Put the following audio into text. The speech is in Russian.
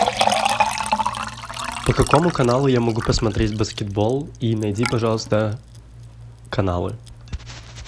по какому каналу я могу посмотреть баскетбол и найди пожалуйста каналы